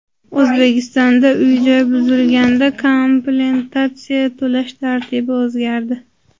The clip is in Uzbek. O‘zbekistonda uy-joy buzilganda kompensatsiya to‘lash tartibi o‘zgardi.